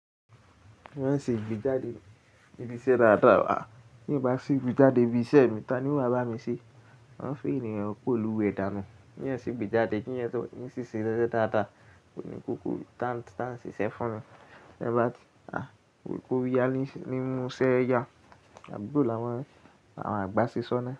Wọ́n ṣe ìgbéjáde ibi iṣẹ́ dáadáa. Bí mo bá sí ìgbéjáde ibi iṣẹ́ mi, ta ni oo wà bá mi ṣe? Wọ́n fún ènìyàn pẹ̀lú ìdáná. Kí ẹeyan ṣe ìgbéjáde, kí ẹeyan yẹ sọ ní ṣíṣe rẹ dáadáa. Kò ní kókó tá ń ṣiṣẹ́ fún wọn. Ẹ bá ti kò rí ẹ ní mú ṣẹ́yà, àbúrò làwọn àgbà ṣe sọ́nà.